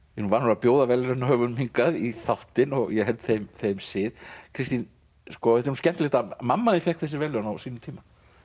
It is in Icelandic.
er nú vanur að bjóða verðlaunahöfunum í þáttinn og ég held þeim þeim sið Kristín þetta er nú skemmtilegt að mamma þín fékk þessi verðlaun á sínum tíma